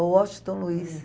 O Washington Luiz.